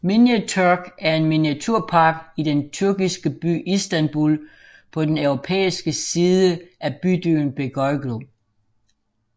Miniatürk er en miniaturepark i den tyrkiske by Istanbul på den europæiske side i bydelen Beyoğlu